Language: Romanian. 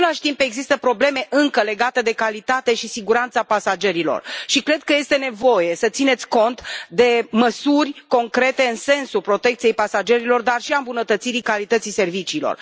În același timp, există probleme încă legate de calitate și de siguranța pasagerilor și cred că este nevoie să țineți cont de măsuri concrete în sensul protecției pasagerilor, dar și al îmbunătățirii calității serviciilor.